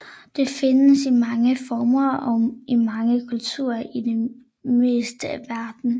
Det findes i mange former og i mange kulturer i det meste af verden